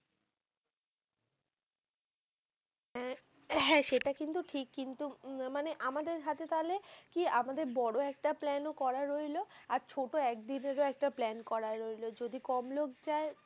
হ্যাঁ সেটা কিন্তু ঠিক কিন্তু, মানে আমাদের হাতে তালে, কি আমাদের বড়ো একটা plan ও করা রইলো আর ছোট একদিনের একটা plan করা রইলো যদি কম লোক যাই.